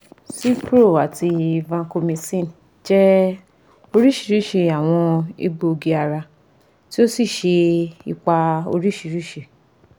Cipro ati vancomycin jẹ oriṣiriṣi awọn egboogi-ara ti o si ṣe ipa oriṣiriṣi